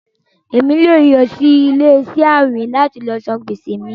ẹ̀mi yóò lọ sí ilẹ̀-iṣẹ àwìn láti sàn gbèsè mí.